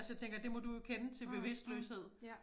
Altså det tænker jeg det må du jo kende til bevidstløshed